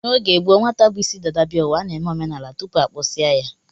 N'oge gboo, nwata bu isi dada bịa ụwa, a na-eme omenala tupu a kpụsịa ya